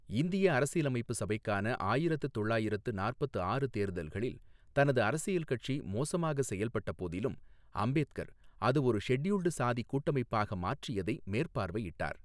இந்திய அரசியலமைப்பு சபைக்கான ஆயிரத்து தொள்ளாயிரத்து நாற்பத்து ஆறு தேர்தல்களில் தனது அரசியல் கட்சி மோசமாக செயல்பட்ட போதிலும், அம்பேத்கர், அது ஒரு ஷெட்யூல்டு சாதி கூட்டமைப்பாக மாற்றியதை மேற்பார்வையிட்டார்.